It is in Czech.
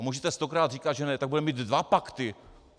A můžete stokrát říkat, že ne, tak budeme mít dva pakty.